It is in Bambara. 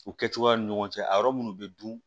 U kɛcogoyaw ni ɲɔgɔn cɛ a yɔrɔ minnu bɛ dun